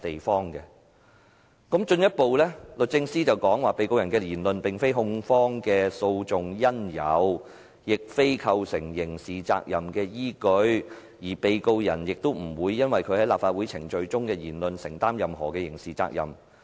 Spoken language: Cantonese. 律政司進一步指被告人的言論並非控方的訴訟因由，亦非構成刑事責任的依據，而被告人也不會就其在立法會會議程序中的言論承擔任何刑事責任。